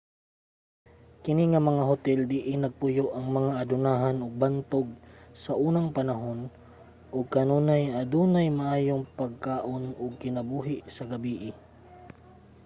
kini nga mga hotel diin nagpuyo ang mga adunahan ug bantog saunang panahon ug kanunay adunay maayong pagkaon ug kinabuhi sa gabii